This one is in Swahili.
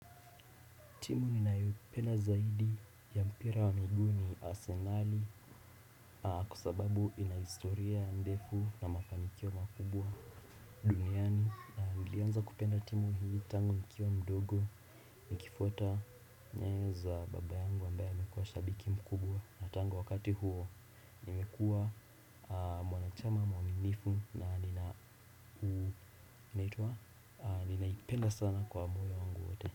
Timu ninayoipenda zaidi ya mpira wa miguu ni Arsenali. Kwa sababu inahistoria ndefu na mafanikio makubwa duniani. Nilianza kupenda timu hii tangu nikiwa mdogo. Nikifuata nyayo za babayangu ambaye alikuwa shabiki mkubwa tangu wakati huo nimekuwa mwanachama mwamimifu na nina ninaipenda sana kwa moyo wangu wote.